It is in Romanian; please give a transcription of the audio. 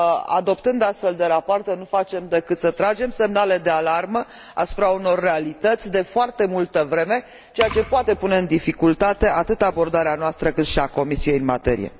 adoptând astfel de rapoarte, nu facem decât să tragem semnale de alarmă asupra unor realități de foarte multă vreme, ceea ce poate pune în dificultate atât abordarea noastră, cât și a Comisiei în materie.